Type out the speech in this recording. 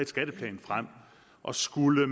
skatteplan frem og skulle